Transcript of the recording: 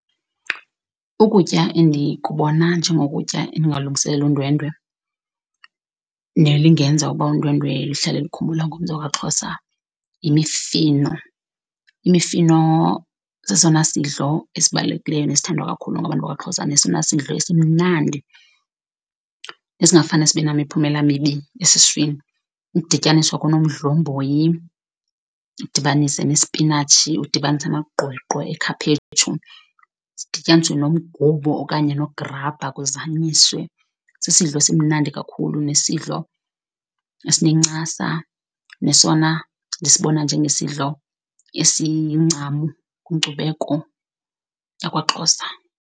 Ukutya endikubona njengokutya endingalungiselela undwendwe nelingenza uba undwendwe luhlale lukhumbula ngomzi wakwaXhosa yimifino. Imifino sesona sidlo esibalulekileyo nesithandwa kakhulu ngabantu bakwaXhosa nesona sidlo esimnandi esingafane sibe nemiphumela emibi esiswini. Ukudityaniswa konomdlomboyi, udibanise nesipinatshi, udibanise amagqweqwe ekhaphetshu, sidityaniswe nomgubo okanye nograbha kuzanyiswe, sisidlo esimnandi kakhulu nesidlo esinencasa nesona ndisibona njengesidlo esincam kwinkcubeko yakwaXhosa.